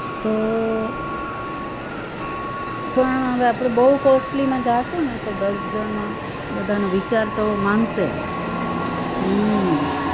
તો પણ હવે આપણે બવ costly માં જાશુને તો દસ જણમાં બધાનો વિચાર તો માંગશે હમ